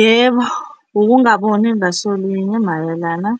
Yebo, ukungaboni ngasolinye mayelana